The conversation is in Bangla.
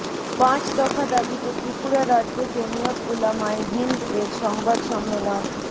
পাঁচ দফা দাবিতে ত্রিপুরা রাজ্য জমিয়ত উলামায়ে হিন্দ এর সংবাদ সম্মেলন